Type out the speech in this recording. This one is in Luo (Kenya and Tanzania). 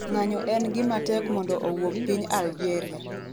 ng'anyo en gima tek mondo owuog piny Algeria